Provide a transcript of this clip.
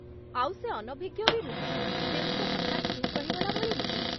ଆଉ ସେ ଅନଭିଜ୍ଞ ବି ନୁହେଁ, ତେଣୁ ସେ ହଠାତ୍ ଚୁପ୍ ରହିଗଲା ଭଳି ନୁହେଁ ।